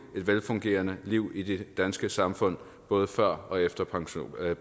et velfungerende liv i det danske samfund både før og efter pensioneringen